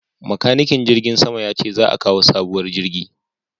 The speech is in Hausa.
Makanikin jirgin sama ya ce za a kawo sabuwar jirgi